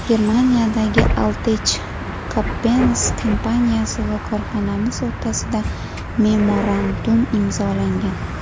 Germaniyadagi Alltech Coppens kompaniyasi va korxonamiz o‘rtasida memorandum imzolangan.